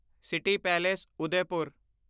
city palace Udaipur